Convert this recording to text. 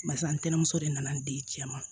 Barisa ntɛnɛnmuso de nana n di cɛ ma